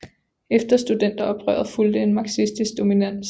Efter studenteroprøret fulgte en marxistisk dominans